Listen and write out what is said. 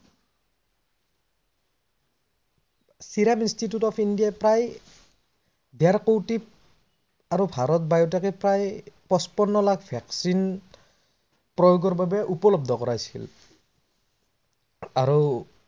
Siraj institute of India প্ৰায় দেৰকৌটি আৰু ভাৰত biotech এ প্ৰায় পচপন্ন লাখ vaccine প্ৰয়োগৰ বাবে উপলব্ধ কৰাইছিল অৰু